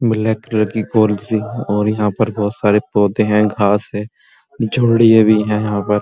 Black colour की और यहाँ पर बहुत सारे पौधे हैं घांस है भी है यहाँ पर।